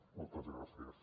moltes gràcies